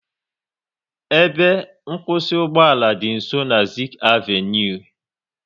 Ebe nkwụsị ugboala dị nsọ na Zik avenui